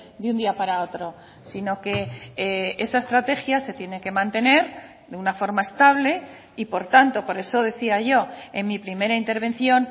de un día para otro sino que esa estrategia se tiene que mantener de una forma estable y por tanto por eso decía yo en mi primera intervención